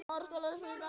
Hér er einum lýst.